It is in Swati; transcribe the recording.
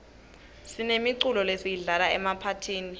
sinemiculo lesiyidlala emaphathini